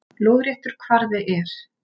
Lóðréttur kvarði er